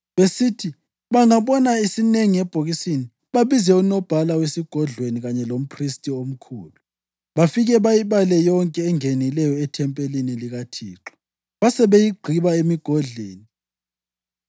Besithi bangabona isinengi ebhokisini, babize unobhala wesigodlweni kanye lomphristi omkhulu, bafike bayibale yonke engenileyo ethempelini likaThixo babesebeyigqiba emigodleni.